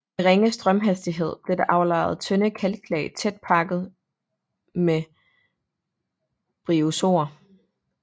Ved ringe strømhastighed blev der aflejret tynde kalklag tæt pakket med bryozoer